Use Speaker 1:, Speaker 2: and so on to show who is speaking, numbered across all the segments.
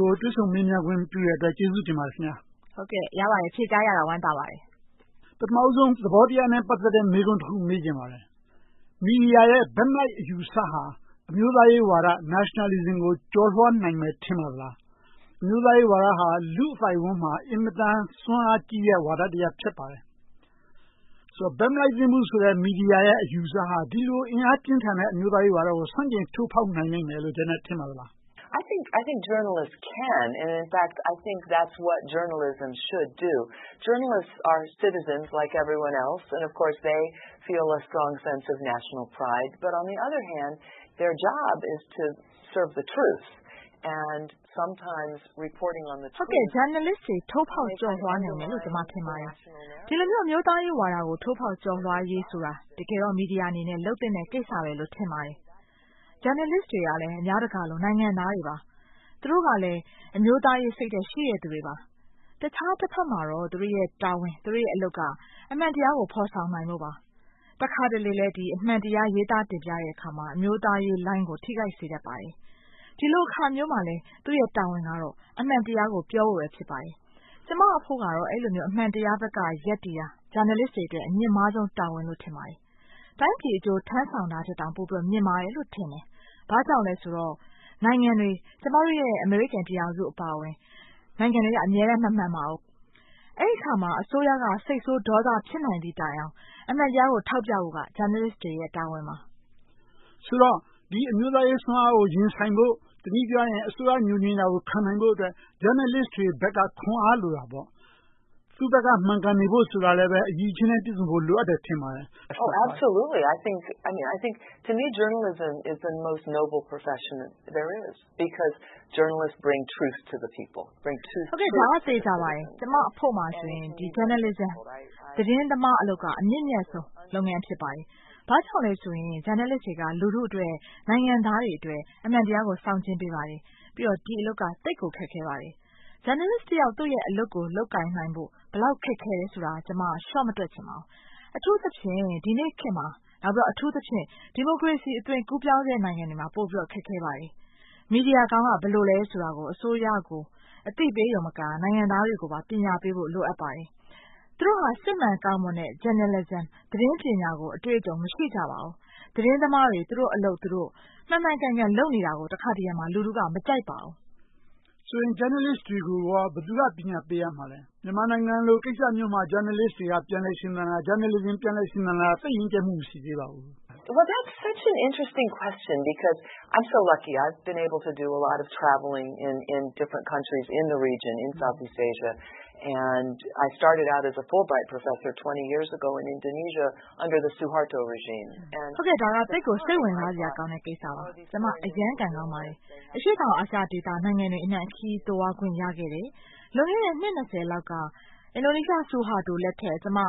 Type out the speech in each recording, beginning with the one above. Speaker 1: ကို တွေ့ဆုံမေးမြန်းခွင့်ပြုတဲ့အတွက် ကျေးဇူးတင်ပါတယ်။ Prof. Janet ။
Speaker 2: ။ ဟုတ်ကဲ့… ရပါတယ်။ ဖြေကြားရတာ ဝမ်းသာပါတယ်။
Speaker 1: ဦးကျော်ဇံသာ ။ ။ ပထမဦးဆုံး သဘောတရားနဲ့ ပတ်သက်တဲ့ မေးခွန်းတခု မေးချင်ပါတယ်။ မီဒီယာရဲ့ ဘက်မလိုက် အယူအဆဟာ အမျိုးသားရေးဝါဒ Nationalism ကို ကျော်လွှာနိုင်မယ် ထင်ပါသလား။ အမျိုးသားရေးဝါဒဟာ လူ့အသိုက်အဝန်းမှာ အင်မတန် စွမ်းအားကြီးတဲ့ ဝါဒတရပ် ဖြစ်ပါတယ်။ ဘက်မလိုက်သင့်ဘူးဆိုတဲ့ မီဒီယာရဲ့ အယူအဆဟာ ဒီလိုအင်အားပြင်းထန်တဲ့ အမျိုးသားရေးဝါဒကို ဆန့်ကျင်ထိုးဖောက်နိုင်လိမ့်မယ်လို့ ထင်ပါသလား
Speaker 3: Prof. Janet ။ ။ ဟုတ်ကဲ့
Speaker 2: Journalist တွေ ထိုးဖောက်ကျော်လွှာနိုင်မယ်လို့ ကျမ ထင်ပါတယ်။ ဒီလိုမျိုး အမျိုးသားရေးဝါဒကို ထိုးဖောက်ကျော်လွှာရေးဆိုတာ တကယ်တော့ မီဒီယာအနေနဲ့ လုပ်သင့်တဲ့ကိစ္စလို့ ထင်ပါတယ်။ Journalist တွေလည်း အများတကာလို နိုင်ငံသားတွေပါ။ သူတို့ကလည်း အမျိုးသားရေးစိတ်ဓါတ် ရှိတဲ့သူတွေပါ။ တခြားတဘက်မှာတော့ သူတို့ရဲ့ တာဝန်၊ သူတို့ရဲ့အလုပ်က အမှန်တရားကို ဖော်ဆောင်နိုင်ဖို့ပါ။ တခါတလေလဲ ဒီလိုအမှန်တရားကို ရေးသားတင်ပြတဲ့အခါမှာ အမျိုးသားရေးလိုင်းကို ထိခိုက်စေတတ်ပါတယ်။ ဒီလိုအခါမျိုးမှာလဲ သူ့ရဲ့တာဝန်ကတော့ အမှန်တရားကို ပြောဖို့ပဲ ဖြစ်ပါတယ်။ ကျမအဖို့ကတော့ အဲဒီလိုမျိုး အမှန်တရားဘက်က ရပ်တည်တာ Journalist တွေအတွက် အမြင့်မားဆုံးတာဝန်လို့ ထင်ပါတယ်။ တိုင်းပြည်အကျိုး ထမ်းဆောင်တာထက်တော့ ပိုမြင့်မားတယ်လို့ ထင်တယ်။ ဘာကြောင့်လဲဆိုတော့ နိုင်ငံတွေ ကျမတို့ အမေရိကန်ပြည်ထောင်စုအပါအဝင် နိုင်ငံတွေက အမြဲတမ်း မမှန်ပါဘူး။ အဲဒီအခါမှာ အစိုးရက စိတ်ဆိုးပြီး ဒေါသဖြစ်နိုင်သည့်တိုင်အောင် အမှန်တရားကို ထောက်ပြဖို့က Journalist တွေရဲ့ တာဝန်ပါ
Speaker 1: ။ ဦးကျော်ဇံသာ ။ ။ ဆိုတော့ ဒီအမျိုးသားရေးစွမ်းအားကို ရင်ဆိုင်ဖို့ တနည်းပြောရရင် အစိုးရ ငြိုငြင်တာကို ခံနိုင်ဖို့အတွက် Journalist တွေဘက်က ခွန်အားလိုတာပေါ့။ သူ့ဘက်က မှန်ကန်နေဖို့ဆိုတာလည်း အရည်အချင်းနဲ့ ပြည့်စုံဖို့ လိုအပ်တယ် ထင်ပါတယ်။ Prof.
Speaker 3: Janet ။ ။ ဟုတ်ကဲ့ ဒါက သေချာပါတယ်။
Speaker 2: ကျမအဖို့မှာဆိုရင် သတင်းသမားအလုပ်က အမြင့်မြတ်ဆုံးလုပ်ငန်း ဖြစ်ပါတယ်။ ဘာကြောင့်လဲဆိုရင် Journalist တွေက လူထုအတွက်၊ နိုင်ငံသားတွေအတွက် အမှန်တရားကို ဆောင်ကျဉ်ပေးပါတယ်။ ပြီးတော့ ဒီအလုပ်ကို သိပ်ကိုခက်ခဲပါတယ်။ Journalist တယောက် သူ့ရဲ့အလုပ်ကို လုပ်ကိုင်နိုင်ဖို့ ဘယ်လောက်ခက်ခဲတယ်ဆိုတာ ကျမ လျှော့မတွက်ချင်ပါဘူး။ အထူးသဖြင့် ဒီနေ့ခေတ်မှာ၊ အထူးသဖြင့် ဒီမိုကရေစီ အသွင်ကူးပြောင်းနေတဲ့ နိုင်ငံတွေမှာ ပိုပြီးတော့ ခက်ခဲပါတယ်။ မီဒီယာကောင်းက ဘယ်လိုလဲဆိုတာကို အစိုးရကို အသိပေးရုံတင်မက နိုင်ငံသားတွေကို ပညာပေးဖို့ လိုအပ်ပါတယ်။ သူတို့ဟာ စစ်မှန်ကောင်းမွန်တဲ့ Journalisim သတင်းပညာကို အတွေ့အကြုံ မရှိကြပါဘူး။ သတင်းသမားတွေ သူတို့အလုပ် သူတို့ မှန်မှန်ကန်ကန် လုပ်နေတာကို တခါတရံ လူထုက မကြိုက်ပါဘူး
Speaker 1: ။ ဦးကျော်ဇံသာ ။ ။ ဆိုတော့ Journalist တွေကို ဘယ်သူက ပညာပေးရမှာလဲ။ မြန်မာနိုင်ငံလို ကိစ္စမျိုးမှာ Journalist တွေက ပြန်လည်ရှင်သန်တာ၊ Journalism ပြန်လည်ရှင်သန်လာတာ သိပ်ရင့်ကြတ်မှု မရှိသေးပါဘူး။ Prof. Janet ။ ။ ဒါက သိပ်ကိုစိတ်ဝင်
Speaker 3: စားဖို့ကောင်းတဲ့ ကိစ္
Speaker 2: စပါ။ ကျမ အရမ်းကံကောင်းပါတယ်။ အရှေ့တောင်အာရှ နိုင်ငံတွေအနံှ ခရီးတွေသွားခွင့် ရခဲ့တယ်။ လွန်ခဲ့တဲ့ နှစ် လောက်က အင်ဒိုနီးရှား ဆူဟာတိုလက်ထက်မှာ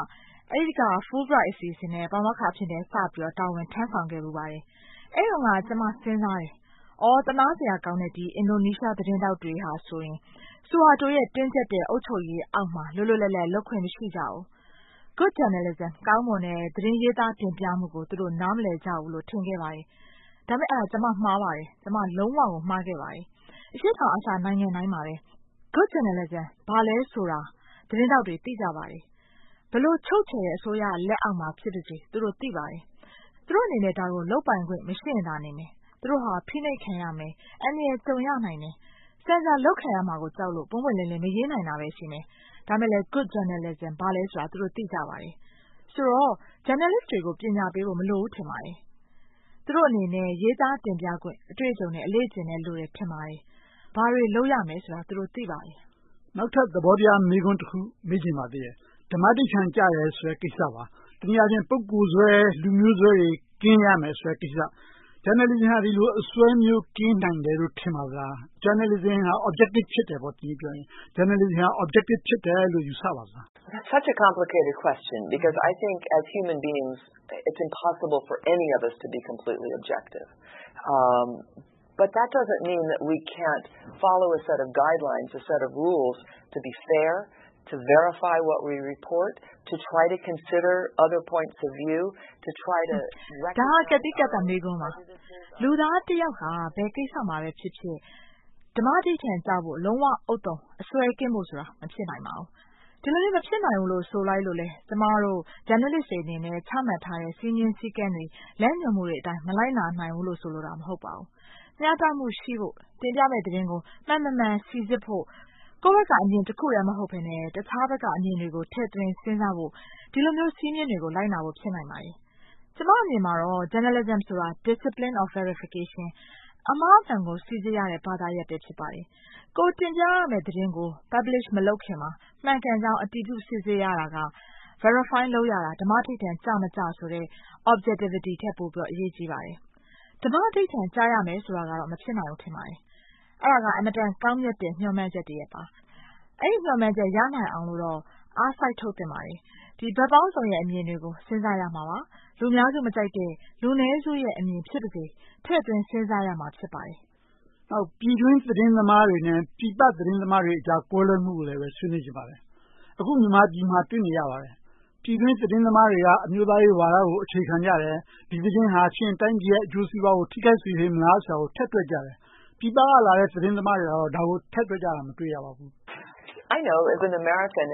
Speaker 2: Fulbright အစီအစဉ်နဲ့ ပါမောက္ခအဖြစ်နဲ့ စပြီးတာဝန်ထမ်းဆောင်ခဲ့ဖူးပါတယ်။ အဲဒီတုန်းက ကျမ စဉ်းစားတယ်… သနားစရာကောင်းတဲ့ အင်ဒိုနီးရှား သတင်းထောက်တွေဟာဆိုရင် ဆူဟာတိုရဲ့ တင်းကြပ်တဲ့ အုပ်ချုပ်ရေးအောက်မှာ လွတ်လွတ်လပ်လပ် လုပ်ခွင့်မရှိကြဘူး။ Good journalism ကောင်းမွန်တဲ့ သတင်းရေးသားတင်ပြမှုကို နားမလည်ကြဘူးလို့ ထင်ခဲ့ပါတယ်။ ဒါပေမဲ့ အဲဒါ ကျမ မှားပါတယ်။ ကျမ လုံးဝကို မှားခဲ့ပါတယ်။ အရှေ့တောင်အာရှ နိုင်ငံတိုင်းမှာ Good Journalism ဘာလဲဆိုတာကို သတင်းထောက်တွေ သိကြပါတယ်။ ဘယ်လိုချုပ်ချယ်တဲ့ အစိုးရလက်အောက်မှာဖြစ်ပါစေ သူတို့ သိပါတယ်။ သူတို့အနေနဲ့ ဒါကို လုပ်ပိုင်ခွင့် မရှိရင်သာနေမယ် သူတို့ဟာ ဖိနှိပ်ခံရမယ်။ အန္တရာယ်ကြုံရနိုင်တယ်။ ဆင်ဆာလုပ်ခံရမှာကို ကြောက်လို့ ပွင့်ပွင့်လင်းလင်း မရေးနိုင်တာပဲ ရှိမယ်။ ဒါပေမဲ့ Good Journalism ဘာလဲဆိုတာကို သူတို့ သိကြပါတယ်။ ဆိုတော့ Journalist တွေကို ပညာပေးဖို့ မလိုဘူး ထင်ပါတယ်။ သူတို့အနေနဲ့ ရေးသားတင်ပြခွင့် အတွေ့အကြုံနဲ့ အလေ့အကျင့်ပဲ လိုမယ်ထင်ပါတယ်။ ဘာတွေလုပ်ရမယ်ဆိုတာကို သူတို့ သိပါတယ်။ ဦးကျော်ဇံသာ ။
Speaker 1: ။ နောက်ထပ်သဘောတရား မေးခွန်းတခု မေးချင်ပါတယ်။ ဓမ္မဓိဌာန်ကျတယ်ဆိုတဲ့ ကိစ္စပါ။ ပညာရှင် ပုဂ္ဂိုလ်စွဲ၊ လူမျိုးစွဲတွေ ကင်းရမယ်ဆိုတဲ့ကိစ္စ။ Journalism ဟာ ဒီလိုအစွဲမျိုး ကင်းနိုင်တယ်လို့ ထင်ပါသလား။ Journalism က တနည်းအားဖြင့်ပြောရင် Objectives ဖြစ်တယ်ပေါ့။ Journalism က Objective ဖြစ်တယ်လို့ ယူဆပါသလား။
Speaker 3: Prof. Janet ။ ။ ဒါက ကတ်
Speaker 2: သီးကတ်သတ် မေးခွန်းးပါ။ လူသားတယောက်ဟာ ဘယ်ကိစ္စမှာပဲဖြစ်ဖြစ် ဓမ္မဓိဌာန်ကျဖို့ လုံးဝဥဿုံအစွဲကင်းဖို့ဆိုတာ မဖြစ်နိုင်ပါဘူး။ ဒီလိုမျိုး မဖြစ်နိုင်ဘူးလို့ ဆိုလိုက်လို့ ကျမတို့ Journalist တွေအနေနဲ့ ချမှတ်ထားတဲ့ စည်းမျဉ်းစည်းကမ်းတွေ၊ လမ်းညွှန်မှုတွေအတိုင်း မလိုက်နာနိုင်ဘူးလို့ ဆိုလိုတာ မဟုတ်ပါဘူး။ မျှတမှုရှိဖို့ တင်ပြမယ့်သတင်းတွေကို မှန်မမှန် စီစစ်ဖို့၊ ကိုယ့်ဘက်က အမြင်တခုတည်း မဟုတ်ဘဲနဲ့ တခြားဘက်က အမြင်တွေကို ထည့်သွင်းစဉ်းစားဖို့ ဒီလိုမျိုး စည်းမျဉ်းတွေကို လိုက်နာဖို့ ဖြစ်နိုင်ပါတယ်။ ကျမအမြင်မှာတော့ Journalism ဆိုတာ discipline of verification အမှားအမှန်ကို စီစစ်ရတဲ့ ဘာသာရပ်ပဲ ဖြစ်ပါတယ်။ ကိုယ်တင်ပြရမယ့် သတင်းကို Publish မလုပ်ခင်မှာ မှန်ကန်ကြောင်း အတည်ပြု စစ်ဆေးရတာက Verify လုပ်ရတာ ဓမ္မဓိဌာန်ကျမကျဆိုတဲ့ Objectivity ထက် ပိုအရေးကြီးပါတယ်။ ဓမ္မဓိဌာန်ကျရမယ်ဆိုတာကတော့ မဖြစ်နိုင်ဘူး ထင်ပါတယ်။ အဲဒါက အင်မတန် ကောင်းတဲ့ မျှော်မှန်းချက်တရပ်ပါ။ အဲဒီမျှော်မှန်းချက် ရနိုင်အောင်လို့တော့ အားစိုက်ထုတ်သင့်ပါတယ်။ ဘက်ပေါင်းစုံတွေရဲ့ အမြင်တွေကို စဉ်းစားရမှာပါ။ လူအများစုမကြိုက်တဲ့ လူနည်းစုရဲ့ အမြင်ဖြစ်ပါစေ.. ထည့်သွင်းစဉ်းစားရမှာ ဖြစ်ပါတယ်
Speaker 1: ။ ဦးကျော်ဇံသာ ။ ။ ပြည်တွင်းသတင်းသမားတွေနဲ့ ပြည်ပသတင်းသမားတွေကြား ကွဲလွဲမှုကိုလည်း ဆွေးနွေးချင်ပါတယ်။ အခု မြန်မာနိုင်ငံမှာ တွေ့နေရပါတယ် - ပြည်တွင်းသတင်းသမားေးတွက အမျိုးသားရေးဝါဒကို အခြေခံကြတယ်။ ဒီသတင်းဟာ တိုင်းပြည်ရဲ့ အကျိုးစီးပွားကို ထိခိုက်စေမလားဆိုတာကို ထည့်တွက်ကြတယ်။ ပြည်ပကလာတဲ့ သတင်းသမားတွေက ဒါကို ထည့်တွက်ကြတာ မတွေ့ရဘူး။
Speaker 3: Prof. Janet ။ ။ ဟုတ်ကဲ ကျမ သိပါတယ်။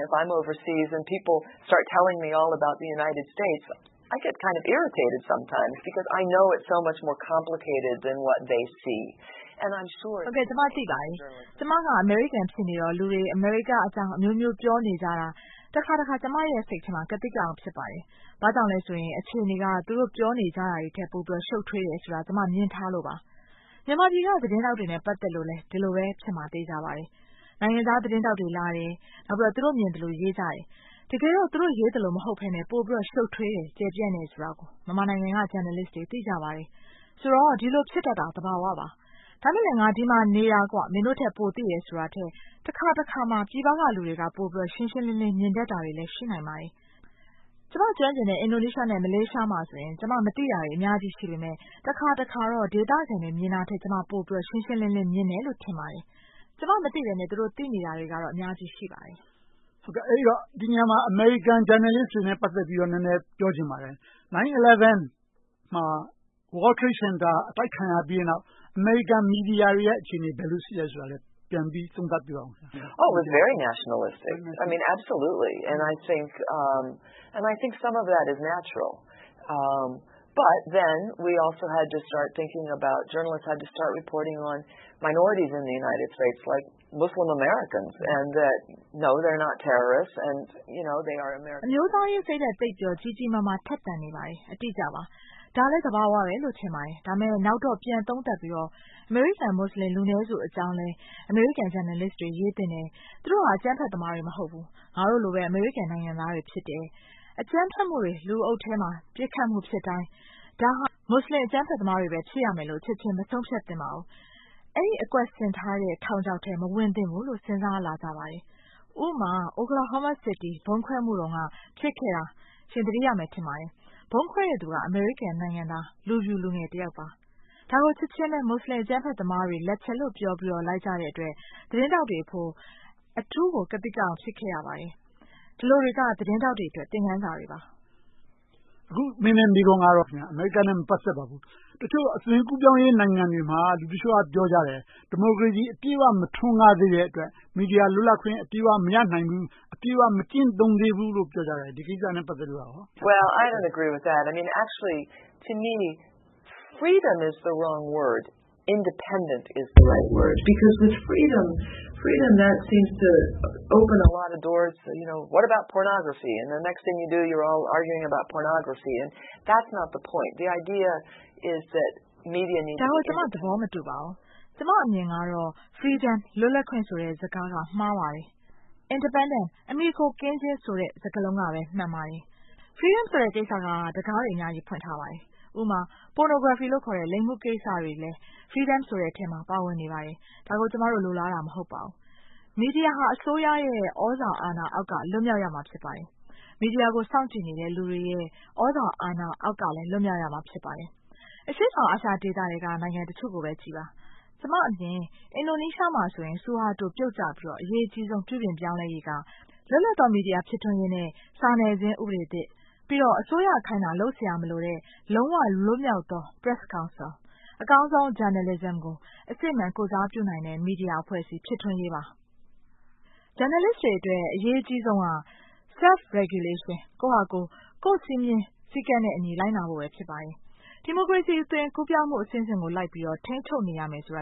Speaker 2: ကျမက အမေရိကန်ဖြစ်နေတော့ လူတွေ အမေရိကအကြောင်းအမျိုးမျိုး ပြောနေကြတာ တခါတခါ ကျမရဲ့ စိတ်ထဲမှာ ကသိကအောက် ဖြစ်ပါတယ်။ ဘာကြောင့်လဲဆိုရင် အခြေအနေက သူတို့ ပြောနေကြတာထက် ပိုပြီးတော့ ရှုပ်ထွေးတယ်ဆိုတာကို ကျမ မြင်ထားလို့ပါ။ မြန်မာပြည်က သတင်းထောက်တွေနဲ့ ပတ်သက်လို့လဲ ဒီလိုပဲ ဖြစ်မယ်ဆိုတာ သေချာပါတယ်။ နိုင်ငံသားသတင်းထောက်တွေလာတယ်။ နောက် သူတို့မြင်သလို ရေးကြတယ်။ တကယ်တော့ သူတို့ရေးသလို မဟုတ်ဘဲနဲ့ ပိုပြီးတော့ ရှုပ်ထွေးတယ်။ ကျယ်ပြန့်တယ်ဆိုတာ မြန်မာနိုင်ငံက Journalist တွေ သိကြပါတယ်။ ဆိုတော့ ဒီလိုဖြစ်တတ်တာ သဘာဝပါ။ ဒါပေမဲ့လဲ ငါ ဒီမှာနေတာကွ။ နင်တို့ထက် ပိုသိတယ်ဆိုတာကထက် တခါတခါမှာ ပြည်ပကလူတွေက ပိုပြီးတော့ ရှင်းရှင်းလင်းလင်း မြင်တတ်တာတွေလည်း ရှိနိုင်ပါတယ်။ ကျမ ကျွမ်းကျင်တဲ့ အင်ဒိုနီးရှား နဲ့ မလေးရှားမှာဆိုရင် ကျမ မသိတာတွေ အများကြီရှိပေမယ့် တခါတခါတော့ ဒေသခံတွေ မြင်တာထက် ကျမ ပိုပြီး ရှင်းရှင်းလင်းလင်း မြင်တယ်လို့ ထင်ပါတယ်။ ကျမမသိဘဲနဲ့ သူတို့သိနေတာတွေက အများကြီးရှိပါတယ်
Speaker 1: ။ ဦးကျော်ဇံသာ ။ ။ အဲဒီတော့ ဒီနေရာမှာ အမေရိကန် ဂျာနယ်လစ်တွေနဲ့ ပတ်သက်ပြီးတော့ နည်းနည်းပြောချင်ပါတယ်။ 9/11 မှာ World Trade Center အတိုက်ခံရပြီးနောက် အမေရိကန်မီဒီယာတွေရဲ့ အခြေအနေ ဘယ်လိုရှိသလဲဆိုတာကို ပြန်ပြီးသုံးသပ်ပေးပါ။ Prof. Janet
Speaker 3: ။ ။ အမျိ
Speaker 2: ုးသားရေးစိတ်ဓါတ် သိပ်ပြီးတော့ ကြီးကြီးမားမား ထက်သန်နေပါတယ် အတိအကျပါ။ ဒါကလဲ သဘာဝလို့ ထင်ပါတယ်။ ဒါပေမဲ့ နောက်တော့ ပြန်သုံးသပ်ပြီးတော့ အမေရိကန်လူနည်းစု မူစလင်အကြောင်းလည်း အမေရိကန်ဂျာနယ်လစ်တွေ ရေးတင်တယ် - သူတို့ဟာ အကြမ်းဖက်သမားတွေ မဟုတ်ဘူး။ ငါတို့လိုပဲ အမေရိကန်နိုင်ငံသားတွေ ဖြစ်တယ်။ အကြမ်းဖက်မှုတွေ လူအုပ်တွေထဲမှာဖြစ်တိုင်း ဒါဟာ မူစလင်အကြမ်းဖက်သမားတွေပဲ ဖြစ်ရမယ်လို့ ချက်ချင်းမဆုံးဖြတ်သင့်ပါဘူး။ အဲဒီအကွက်ဆင်ထားတဲ့ ထောင်ချောက်ထဲ မဝင်သင့်ဘူးလို့ စဉ်းစားလာကြပါတယ်။ ဥပမာ Oklahoma city ဗုံးခွဲမှုတုန်းက ဖြစ်ခဲ့တာ ရှင် သတိရမယ် ထင်ပါတယ်။ ဗုံးခွဲတဲ့လူက အမေရိကန်နိုင်ငံသား လူဖြူလူငယ်တယောက်ပါ။ ဒါကို ချက်ချင်းပဲ မူစလင်အကြမ်းဖက်သမားတွေ လက်ချက်လို့ ပြောပြီးတော့ လိုက်ကြတဲ့အတွက် သတင်းထောက်တွေအဖို့ အထူးကို ကသိကအောက် ဖြစ်ခဲ့ရပါတယ်။ ဒါတွေက သတင်းထောက်တွေအတွက် သင်ခန်းစာပါ
Speaker 1: ။ ဦးကျော်ဇံသာ ။ ။ အခုမေးမယ့် မေးခွန်းကတော့ အမေရိကန်နဲ့ မပတ်သက်ပါဘူး။ တချို့အသွင်ကူးပြောင်းရေး နိုင်ငံတွေမှာ လူတချို့က ပြောကြတယ် ဒီမိုကရေစီအပြည့်အဝ မထွန်းကားသေးတဲ့အတွက် မီဒီယာလွတ်လပ်ခွင့် အပြည့်အဝ မရနိုင်သေးဘူး။ အပြည့်အဝ မကျင့်သုံးးသေးဘူးလို့ ပြောကြတယ်။ ဒီကိစ္စနဲ့ ပတ်သက်လို့… Prof. Janet
Speaker 3: ။ ။ ဒါကို ကျမ သဘ
Speaker 2: ောမတူပါဘူး။ ကျမအမြင်ကတော့ Freedom လွတ်လပ်ခွင့်ဆိုတဲ့ စကားလုံးက မှားပါတယ်။ Independence အမှီအခိုကင်းခြင်းဆိုတဲ့ စကားလုံးက မှန်ပါတယ်။ Freedom ဆိုတဲ့ စကားက တံခါးတွေ အများကြီး ဖွင့်ထားပါတယ်။ ဥပမာ Pornography ခေါ်တဲ့ လိင်မှုကိစ္စတွေက Freedom ဆိုတဲ့အထဲမှာ ပါဝင်နေပါတယ်။ ဒါကို ကျမတို့ လိုလားတာ မဟုတ်ပါဘူး။ မီဒီယာဟာ အစိုးရရဲ့ သြဇာအာဏာအောက်က လွတ်မြောက်ရမှာ ဖြစ်ပါတယ်။ မီဒီယာကို စောင့်ကြည့်နေတဲ့ လူတွေရဲ့ သြဇာအာဏာအောက်ကလည်း လွတ်မြောက်ရမှာ ဖြစ်ပါတယ်။ အရှေ့တောင်အာရှထဲက နိုင်ငံတချို့ကိုပဲကြည့်ပါ ကျမအမြင် အင်ဒိုနီးရှားမှာဆိုရင် ဆူဟာတို ပြုတ်ကျပြီးတော့ အရေးကြီးဆုံး ပြုပြင်ပြောင်းလဲရေးက လွတ်လပ်သော မီဒီယာ ဖြစ်ထွန်းရေးနဲ့ စာနယ်ဇင်းဥပဒေသစ်။ ပြီးတော့ အစိုးရ ခိုင်းတာ လုပ်စရာမလိုတဲ့ လုံးဝလွတ်မြောက်သော Press Council အကောင်းဆုံး Journalism ကို အစစ်အမှန် ကိုယ်စားပြုနိုင်တဲ့ မီဒီယာအဖွဲ့အစည်း ဖြစ်ထွန်းရေးပါ။ ဂျာနယ်လစ်တွေအတွက် အရေးကြီးဆုံးက Self-regulation ကိုယ့်ဟာကိုယ် ကိုယ့်စည်းမျဉ်းစည်းကမ်းနဲ့ လိုက်နာဖို့ပဲ ဖြစ်ပါတယ်။ ဒီမိုကရေစီအသွင် ကူးပြောင်းဖို့အဆင့်ဆင့်ကို လိုက်ပြီးတော့ ထိန်းချုပ်နေရမယ်ဆိုတာ